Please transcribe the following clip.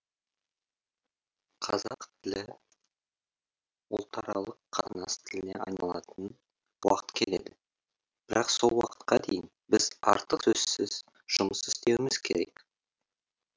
қазақ тілі ұлтаралық қатынас тіліне айналатын уақыт келеді бірақ сол уақытқа дейін біз артық сөзсіз жұмыс істеуіміз керек